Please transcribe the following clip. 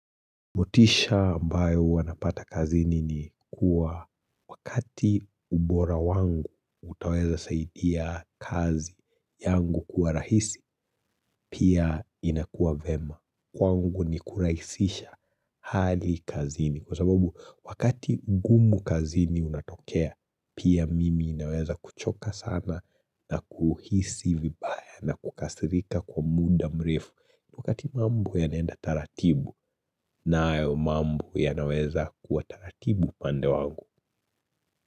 Motisha ambayo wanapata kazini ni kuwa wakati ubora wangu utaweza saidia kazi yangu kuwa rahisi, pia inakuwa vyema. Kwangu ni kurahisisha hali kazini. Kwa sababu wakati ngumu kazini unatokea, pia mimi naweza kuchoka sana na kuhisi vibaya na kukasirika kwa muda mrefu. Wakati mambo yanaenda taratibu na hayo mambo yanaweza kuwa taratibu pandewangu.